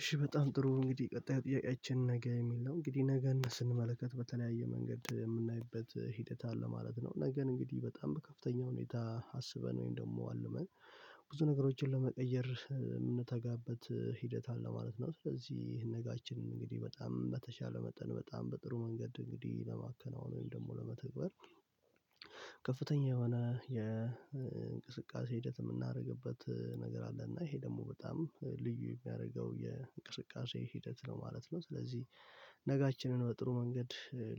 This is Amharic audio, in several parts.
እሺ በጣም ጥሩ እንግዲህ ቀጣዩ ጥያቄያችን ነገ የሚል ነው እንግዲህ ነገ ስንመለከት በተለያየ መንገድ የምናይበት ሂደት አለ ማለት ነው። ነገን እንግዲህ በጣም በከፍተኛ ሁኔታ አስበን ወይም ደግሞ አልመን ብዙ ነገሮችን ለመቀየር የምንተጋበት ሂደት አለ ማለት ነው። ስለዚህ ይሄን ነጋችንን እንግዲህ በጣም በተሻለ መጠን በጣም በጥሩ መንገድ እንግዲህ ለማከናወን ወይም ደግሞ ለመተግበር። ከፍተኛ የሆነ የእንቅስቃሴ ሂደት የምናደርግበት ነገር አለ እና ይሄ ደግሞ በጣም ልዩ የሚያደርገው የእንቅስቃሴ ሂደት ነው ማለት ነው። ስለዚህ ነጋችንን በጥሩ መንገድ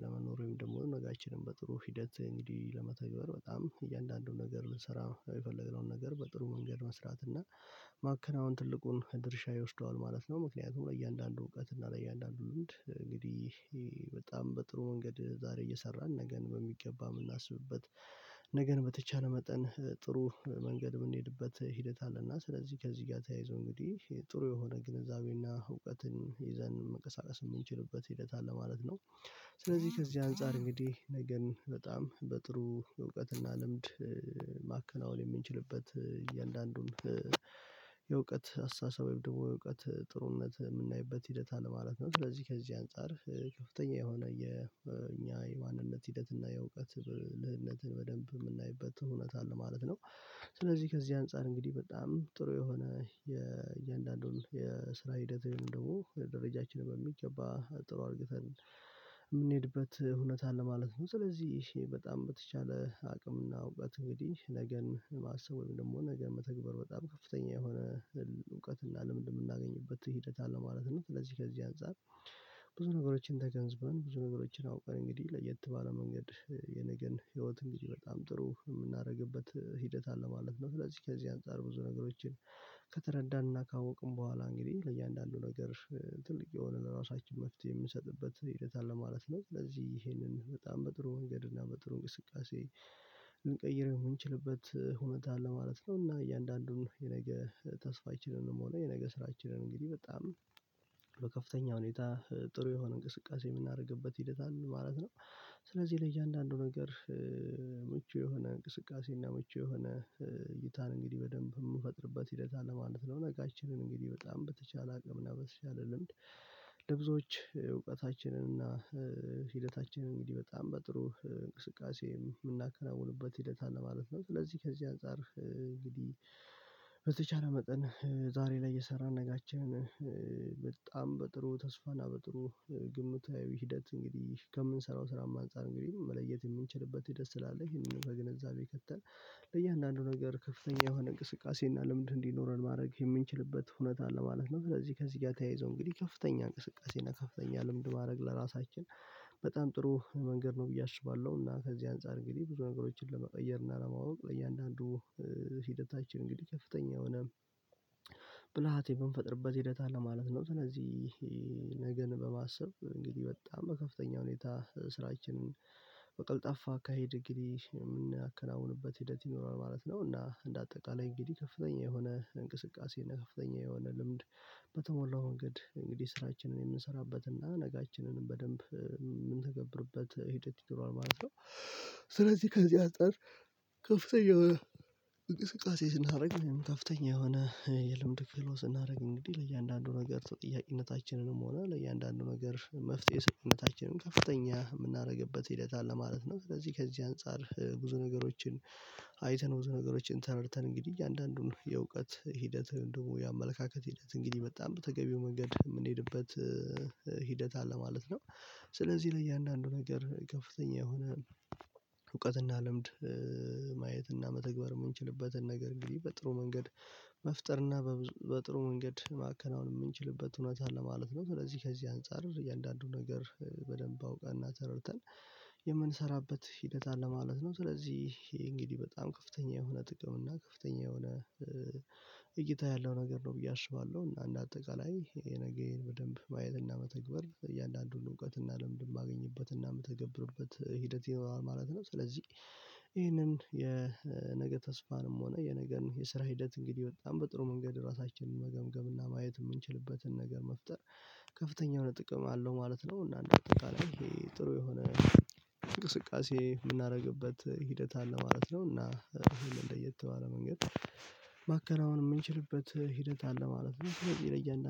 ለመኖር ወይም ደግሞ ነጋችንን በጥሩ ሂደት እንግዲህ ለመተግበር በጣም እያንዳንዱን ነገር ልንሰራ የፈለገውን ነገር በጥሩ መንገድ መስራት እና ማከናወን ትልቁን ድርሻ ይወስደዋል ማለት ነው። ምክንያቱም ለእያንዳንዱ እውቀት እና ለእያንዳንዱ ልምድ እንግዲህ በጣም በጥሩ መንገድ ዛሬ እየሰራን ነገን በሚገባ የምናስብበት ነገን በተቻለ መጠን ጥሩ መንገድ የምንሄድበት ሂደት አለና ስለዚህ ከዚህ ጋር ተያይዞ እንግዲህ ጥሩ የሆነ ግንዛቤና እውቀትን ይዘን መንቀሳቀስ የምንችልበት ሂደት አለ ማለት ነው። ስለዚህ ከዚህ አንፃር እንግዲህ ነገን በጣም በጥሩ እውቀትና ልምድ ማከናወን የምንችልበት እያንዳንዱን የእውቀት አስተሳሰብ የእውቀት ጥሩነት የምናይበት ሂደት አለ ማለት ነው። ስለዚህ ከዚህ አንፃር ከፍተኛ የሆነ የኛ የማንነት ሂደት እና የእውቀት ልህነትን በደንብ የምናይበት እውነት አለ ማለት ነው። ስለዚህ ከዚህ አንፃር እንግዲህ በጣም ጥሩ የሆነ የስራ ሂደት ደግሞ ደረጃችን በሚገባ ጥሩ አርግተን የምንሄድበት እውነት አለ ማለት ነው። ስለዚህ በጣም በተቻለ አቅምና እውቀት እንግዲህ ነገን ማሰብ ወይም ደግሞ ነገ መተግበር በጣም ከፍተኛ የሆነ እውቀት እንዳለ ምን እንደምናገኝበት ሂደት አለ ማለት ነው። ስለዚህ ከዚህ አንፃር ብዙ ነገሮችን ተገንዝበን ብዙ ነገሮችን አውቀን እንግዲህ ለየት ባለ መንገድ የነገን ህይወት እንግዲህ በጣም ጥሩ የምናደርግበት ሂደት አለ ማለት ነው። ስለዚህ ከዚህ አንፃር ብዙ ነገሮችን ከተረዳንና ካወቅን በኋላ እንግዲህ ለእያንዳንዱ ነገር ትልቅ የሆነ ለራሳችን መፍትሄ የምንሰጥበት ሂደት አለ ማለት ነው። ስለዚህ ይሄንን በጣም በጥሩ ወንገድ እና በጥሩ እንቅስቃሴ ልንቀይረው የምንችልበት ሁኔታ አለ ማለት ነው። እና እያንዳንዱን የነገ ተስፋችንንም ሆነ የነገ ስራችንን እንግዲህ በጣም በከፍተኛ ሁኔታ ጥሩ የሆነ እንቅስቃሴ የምናደርግበት ሂደት አለን ማለት ነው። ስለዚህ ለያንዳንዱ ነገር ምቹ የሆነ እንቅስቃሴ እና ምቹ የሆነ እይታን እንግዲህ በደንብ የምንፈጥርበት ሂደት አለ ማለት ነው። ነጋችንን እንግዲህ በጣም በተቻለ አቅምና በተቻለ ልምድ ለብዙዎች እውቀታችንን እና ሂደታችንን እንግዲህ በጣም በጥሩ እንቅስቃሴ የምናከናውንበት ሂደት አለ ማለት ነው። ስለዚህ ከዚህ አንፃር እንግዲህ በተቻለ መጠን ዛሬ ላይ እየሰራን ነገአችንን በጣም በጥሩ ተስፋና በጥሩ ግምታዊ ሂደት እንግዲህ ከምንሰራው ስራም አንፃር እንግዲህ መለየት የምንችልበት ሂደት ስላለ ይሄንን በግንዛቤ ከተን ለእያንዳንዱ ነገር ከፍተኛ የሆነ እንቅስቃሴ እና ልምድ እንዲኖረን ማድረግ የምንችልበት ሁኔታ ለማለት ነው። ስለዚህ ከዚህ ጋር ተያይዞ እንግዲህ ከፍተኛ እንቅስቃሴ እና ከፍተኛ ልምድ ማድረግ ለራሳችን በጣም ጥሩ መንገድ ነው ብዬ አስባለሁ። እና ከዚህ አንፃር እንግዲህ ብዙ ነገሮችን ለመቀየር እና ለማወቅ ለእያንዳንዱ ሂደታችን እንግዲህ ከፍተኛ የሆነ ብልሃቴ የምንፈጥርበት ሂደት አለ ማለት ነው። ስለዚህ በማሰብ እንግዲህ በጣም በከፍተኛ ሁኔታ ስራችንን በቀልጣፋ አካሄድ እንግዲህ የምናከናውንበት ሂደት ይኖራል ማለት ነው። እና እንደ አጠቃላይ እንግዲህ ከፍተኛ የሆነ እንቅስቃሴ እና ከፍተኛ የሆነ ልምድ በተሞላው መንገድ እንግዲህ ስራችንን የምንሰራበትና ነጋችንንም በደንብ የምንተገብርበት ሂደት ይኖራል ማለት ነው። ስለዚህ ከዚህ አንፃር ከፍተኛ የሆነ እቅስቃሴ ስናደርግ ከፍተኛ የሆነ የልምድ ፍሎ ስናደርግ እንግዲህ ለእያንዳንዱ ነገር ተጠያቂነታችንንም ሆነ ለእያንዳንዱ ነገር መፍትሄ ሰጪነታችንም ከፍተኛ የምናደርግበት ሂደት አለ ማለት ነው። ስለዚህ ከዚህ አንፃር ብዙ ነገሮችን አይተን ብዙ ነገሮችን ተረድተን እንግዲህ አንዳንዱን የእውቀት ሂደት ወይም ደግሞ የአመለካከት ሂደት እንግዲህ በጣም በተገቢው መንገድ የምንሄድበት ሂደት አለ ማለት ነው። ስለዚህ ለእያንዳንዱ ነገር ከፍተኛ የሆነ እውቀትና ልምድ ማየትና መተግበር የምንችልበትን ነገር እንግዲህ በጥሩ መንገድ መፍጠርና በጥሩ መንገድ ማከናወን የምንችልበት እውነታ አለ ማለት ነው። ስለዚህ ከዚህ አንፃር እያንዳንዱን ነገር በደንብ አውቀንና ተረድተን የምንሰራበት ሂደት አለ ማለት ነው። ስለዚህ እንግዲህ በጣም ከፍተኛ የሆነ ጥቅም እና ከፍተኛ የሆነ እይታ ያለው ነገር ነው ብዬ አስባለሁ። እና እንደ አጠቃላይ ይሄን ነገር በደንብ ማየትና መተግበር እያንዳንዱን እውቀት እና ልምድ የማገኝበት እና የምትተገብርበት ሂደት ይኖራል ማለት ነው። ስለዚህ ይህንን የነገ ተስፋንም ሆነ የነገን የስራ ሂደት እንግዲህ በጣም በጥሩ መንገድ ራሳችንን መገምገም እና ማየት የምንችልበትን ነገር መፍጠር ከፍተኛ የሆነ ጥቅም አለው ማለት ነው። እና እንደ አጠቃላይ ይሄ ጥሩ የሆነ እንቅስቃሴ የምናደርግበት ሂደት አለ ማለት ነው። እና እንደየተባለ መንገድ ማከናወን የምንችልበት ሂደት አለ ማለት ነው።